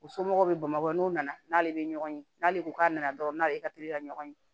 U somɔgɔw bɛ bamakɔ n'u nana n'ale bɛ ɲɔgɔn ye n'ale ko k'a nana dɔrɔn n'ale ka teli ka ɲɔgɔn ye